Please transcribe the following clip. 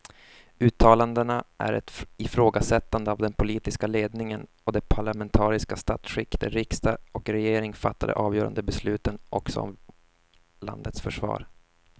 Uttalandena är ett ifrågasättande av den politiska ledningen och det parlamentariska statsskick där riksdag och regering fattar de avgörande besluten också om landets försvar.